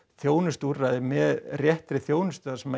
þjónustuúrræði með réttri þjónustu þar sem